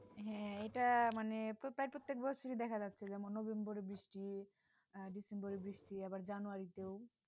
হ্যাঁ এটা মানে তো প্রায় প্রত্যেক বছরই দেখা যাচ্ছে যেমন November এ বৃষ্টি December এ বৃষ্টি আবার January তেও